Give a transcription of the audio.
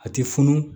A ti funu